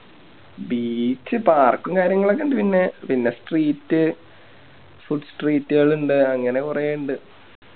Beach park ഉം കാര്യങ്ങളൊക്കെ ഇണ്ട് പിന്നെ Street food street കളുണ്ട് അങ്ങനെ കൊറേ ഇണ്ട്